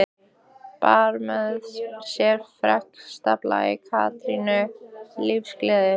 Bar með sér ferskan blæ, kátínu, lífsgleði.